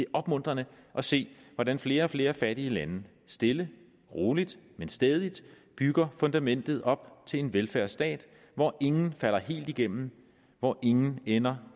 opmuntrende at se hvordan flere og flere fattige lande stille og roligt men stædigt bygger fundamentet op til en velfærdsstat hvor ingen falder helt igennem hvor ingen ender